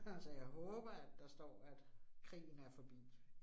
Så jeg håber, at der står, at krigen er forbi